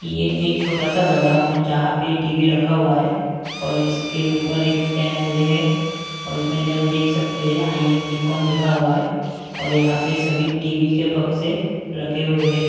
ये एक छोटा सा गो डाउन है जहां पे टी_वी रखा हुआ है और इसके ऊपर एक फैन ले है और इसमें भि हम देख सकते हैं आई एम निकॉन लिखा हुआ है और यहां पे सभी टी_वी के भक्से रखे हुए हैं।